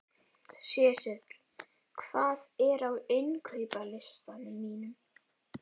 Sesil, hvað er á innkaupalistanum mínum?